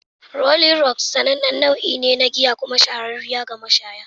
"Rolling Rock'' sanannen nau'ine na giya kuma shahararriya ga mashaya.